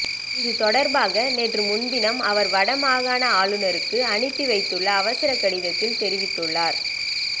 இது தொடர்பாக நேற்று முன்தினம் அவர் வடமாகாண ஆளுநருக்கு அனுப்பி வைத்துள்ள அவசர கடிதத்தில் தெரிவித்துள்ளார்